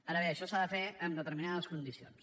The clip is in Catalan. ara bé això s’ha de fer amb determinades condicions